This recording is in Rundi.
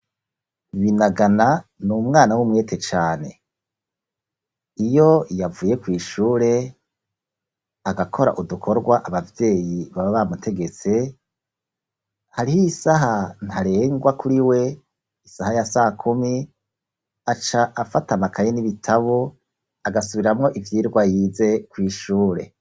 binagana ni umwana w'umwete cane iyo yavuye kw,ishure agakora udukorwa abavyeyi baba bamutegetse hariho isaha ntarengwa kuri we isaha ya sa kumi aca afata amakaye n'ibitabo agasubiramwo ivyirwa yize kw,ishure